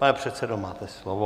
Pane předsedo, máte slovo.